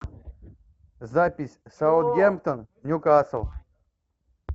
запись саутгемптон ньюкасл